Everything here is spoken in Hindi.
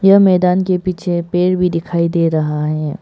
यह मैदान के पीछे पेड़ भी दिखाई दे रहा है।